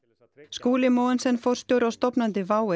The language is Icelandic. Skúli Mogensen forstjóri og stofnandi WOW